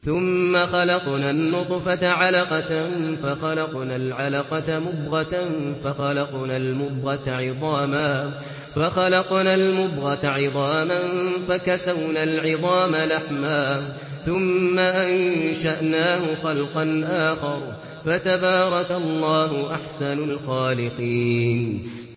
ثُمَّ خَلَقْنَا النُّطْفَةَ عَلَقَةً فَخَلَقْنَا الْعَلَقَةَ مُضْغَةً فَخَلَقْنَا الْمُضْغَةَ عِظَامًا فَكَسَوْنَا الْعِظَامَ لَحْمًا ثُمَّ أَنشَأْنَاهُ خَلْقًا آخَرَ ۚ فَتَبَارَكَ اللَّهُ أَحْسَنُ الْخَالِقِينَ